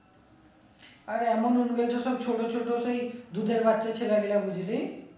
আরে এমন সব ছোট ছোট সেই দুধের বাচ্ছা বুঝলি